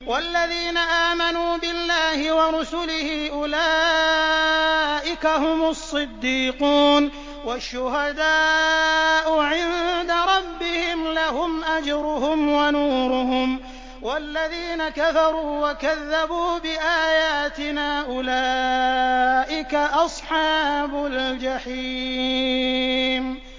وَالَّذِينَ آمَنُوا بِاللَّهِ وَرُسُلِهِ أُولَٰئِكَ هُمُ الصِّدِّيقُونَ ۖ وَالشُّهَدَاءُ عِندَ رَبِّهِمْ لَهُمْ أَجْرُهُمْ وَنُورُهُمْ ۖ وَالَّذِينَ كَفَرُوا وَكَذَّبُوا بِآيَاتِنَا أُولَٰئِكَ أَصْحَابُ الْجَحِيمِ